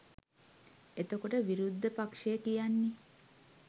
එතකොට විරුද්ධ පක්ෂය කියන්නේ